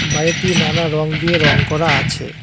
বাড়িটি নানা রঙ দিয়ে রঙ করা আছে।